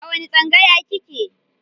A wani tsangaya kike?